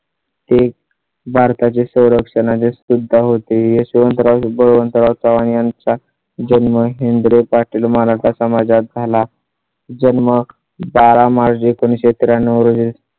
ते भारता चे संरक्षण आणि सुद्धा होते. यशवंतराव बळवंतराव चव्हाण यांचा जन्म हेन्द्रे पाटील मराठा समाजात झाला. जन्म, बारा मार्च, एकोणीस शे त्र्याण्णव